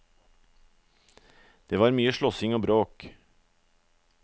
Det var mye slåssing og bråk.